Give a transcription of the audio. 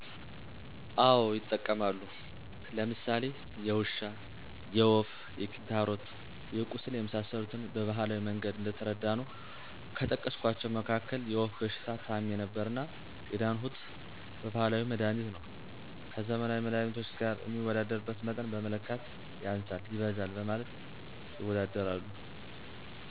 አወ ይጠቀማሉ። ለምሳሌ የውሻ፣ የወፍ፣ የክንታሮት፣ የቁስል የመሰሰሉትን በባህላዊ መንገድ እየተረዳነው ከጠቀስኳቸው መካክል የወፍ በሽታ ታምሜ ነበርና የዳንሁት በባህላዊ መድሀኒት ነው። ከዘመናዊ መድሃኒቶች ገር ሚወዳደርበት መጠን በመለካት ያንሳል ይበዛል በማለት ይወዳደራሉ።